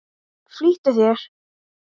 Flýttu þér.